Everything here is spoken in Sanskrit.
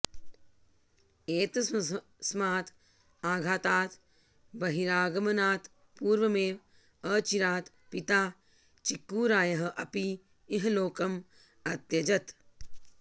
एतस्मात् आघातात् बहिरागमनात् पूर्वमेव अचिरात् पिता चिक्कूरायः अपि इहलोकम् अत्यजत्